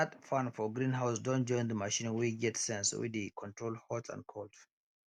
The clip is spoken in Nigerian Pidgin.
that fan for greenhouse don join the machine wey get sense wey dey control hot and cold